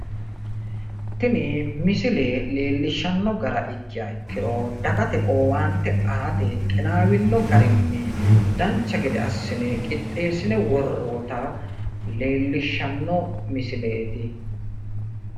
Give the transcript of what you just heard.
tini misile leellishshanno gara ikkiha ikkiro dagate owaante aate qinaawino garinni dancha gede assine qixxeessine worroyita leellishshanno misileeti.